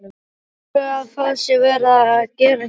Telurðu að það sé verið að gera hér?